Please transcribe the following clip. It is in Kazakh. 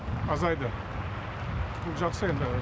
азайды бұл жақсы енді